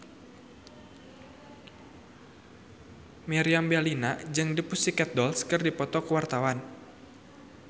Meriam Bellina jeung The Pussycat Dolls keur dipoto ku wartawan